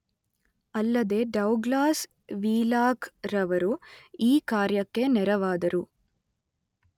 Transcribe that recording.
ಅಲ್ಲದೇ ಡೌಗ್ಲಾಸ್ ವೀಲಾಕ್‌ರವರು ಈ ಕಾರ್ಯಕ್ಕೆ ನೆರವಾದರು.